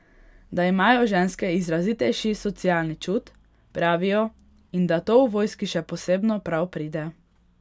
Da imajo ženske izrazitejši socialni čut, pravijo, in da to v vojski še posebno prav pride.